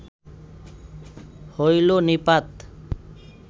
হইল নিপাত